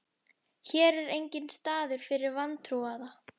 Hér er enginn staður fyrir vantrúaða.